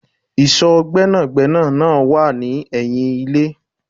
Ìsò Gbẹ́nàgbẹ́nà náà wá ni ẹyin ilé